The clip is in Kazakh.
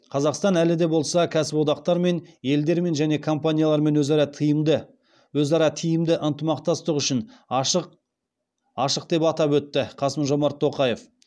қазақстан әлі де болса кәсіподақтармен елдермен және компаниялармен өзара тиімді ынтымақтастық үшін ашық деп атап өтті қасым жомарт тоқаев